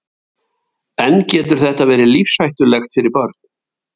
Höskuldur Kári: En getur þetta verið lífshættulegt fyrir börn?